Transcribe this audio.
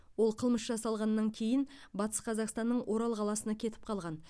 ол қылмыс жасалғаннан кейін батыс қазақстанның орал қаласына кетіп қалған